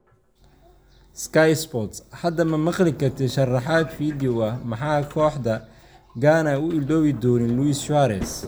(Sky Sports) Hadda ma maqli kartid sharaxaad fiidiyoow ah, Maxay kooxda Ghana u iloobi doonin Luis Suarez?